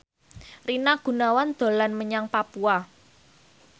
Rina Gunawan dolan menyang Papua